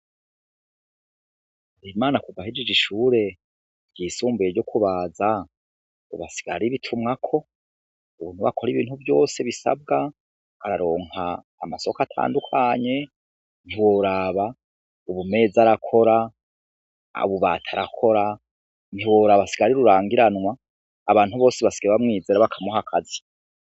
Bigirimana kuva ahejeje ishure ry'isumbuye ryo kubaza, Ubu asigaye ari bitumwako, Ubu niwe akora ibintu vyose bisabwa araronka amasoko atandukanye ntiworaba Ubumeza arakora, ububati arakora ntiworaba asigaye ari rurangiranwa abantu bose basigaye bamwizera bakamuha akazi.